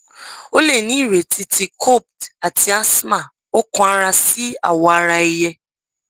o le ni ireti ti copd ati asthma ọkànara si awọaraẹyẹ